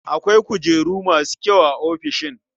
Akwai kujeru masu kyau a ofishin.